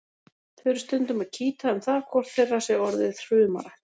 Þau eru stundum að kýta um það hvort þeirra sé orðið hrumara.